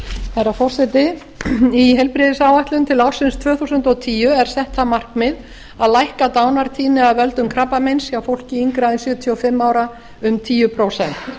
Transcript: herra forseti í heilbrigðisáætlun til ársins tvö þúsund og tíu er sett það markmið að lækka dánartíðni af völdum krabbameins hjá fólki yngra en sjötíu og fimm ára um tíu prósent